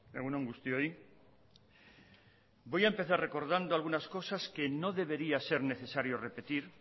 egun on guztioi voy a empezar recordando algunas cosas que no debería ser necesario repetir